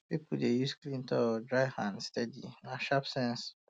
people dey use clean towel um dry hand steady na sharp sense um